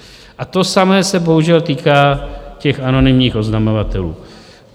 A to samé se bohužel týká těch anonymních oznamovatelů.